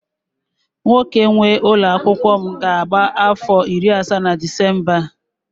nwoke nwe ụlọ akwụkwọ m ga-abụ afọ iri asaa na Disemba a